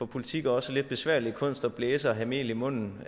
politik også lidt besværlige kunst nemlig at blæse og have mel i munden